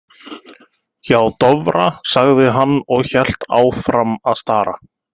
Hjá Dofra, sagði hann og hélt áfram að stara.